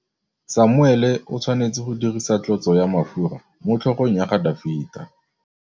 Samuele o tshwanetse go dirisa tlotsô ya mafura motlhôgong ya Dafita.